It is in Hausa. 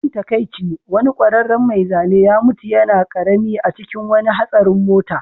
Abin takaici, wani ƙwararren mai zane ya mutu yana ƙarami a cikin wani hatsarin mota